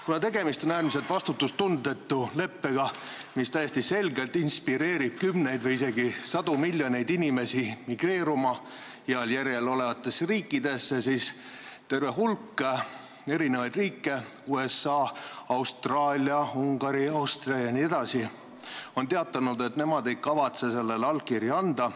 Kuna tegemist on äärmiselt vastutustundetu leppega, mis täiesti selgelt inspireerib kümneid või isegi sadu miljoneid inimesi migreeruma heal järjel olevatesse riikidesse, on terve hulk riike – USA, Austraalia, Ungari, Austria jne – teatanud, et nemad ei kavatse sellele allkirja anda.